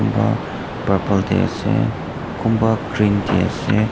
kumba purple te ase kumba green te ase.